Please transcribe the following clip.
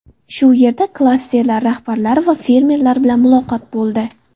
Shu yerda klasterlar rahbarlari va fermerlar bilan muloqot bo‘ldi.